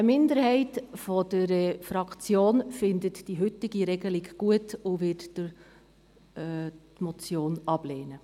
Eine Minderheit der Fraktion findet die heute Regelung gut und wird die Motion ablehnen.